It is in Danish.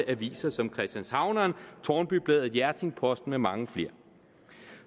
aviser som christianshavneren tårnby bladet hjerting posten med mange flere